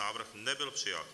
Návrh nebyl přijat.